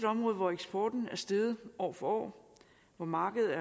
område hvor eksporten er steget år for år og hvor markedet